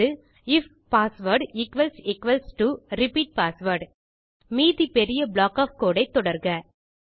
சொல்வது if password equals equals do repeat password மீதி பெரிய ப்ளாக் ஒஃப் கோடு ஐ தொடர்க